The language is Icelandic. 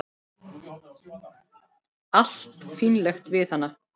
Allt fínlegt við hana.